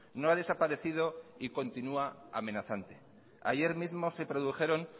no ha desaparecido y continúa amenazante ayer mismo se produjeron